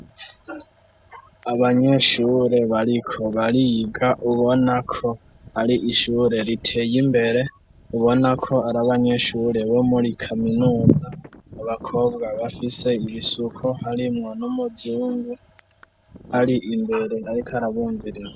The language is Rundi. abanyeshure bariko bariga ubonako ari shure riteye imbere ubonako ari abanyeshure bo muri kaminuza abakobwa bafise ibisuko harimwo n'umuzungu ari imbere ariko arabumviriza